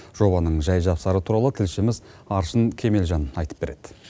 жобаның жәй жапсары туралы тілшіміз аршын кемелжан айтып береді